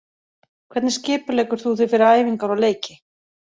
Hvernig skipuleggur þú þig fyrir æfingar og leiki?